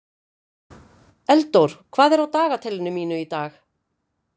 Eldór, hvað er á dagatalinu mínu í dag?